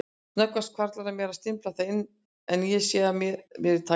Snöggvast hvarflar að mér að stimpla það inn en sé að mér í tæka tíð.